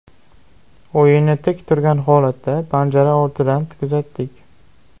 O‘yinni tik turgan holatda, panjara ortidan kuzatdik.